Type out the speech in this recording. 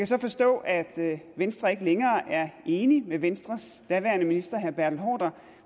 så forstå at venstre ikke længere er enig med venstres daværende minister herre bertel haarder